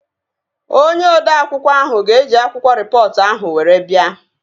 Onye odeakwụkwọ ahụ ga eji akwụkwọ rịpọtụ ahụ were bia